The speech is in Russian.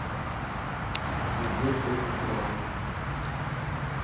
надежды петровой